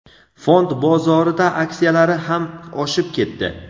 fond bozorida aksiyalari ham oshib ketdi.